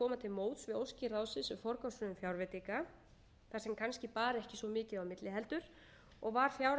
um forgangsröðun fjárveitinga þar sem kannski bar ekki svo mikið á milli heldur og var fjárhagsáætlun ársins tvö þúsund og tíu samþykkt á